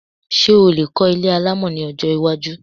Ṣé o lè kọ́ ilé alámọ̀ ní ọjọ́ iwájú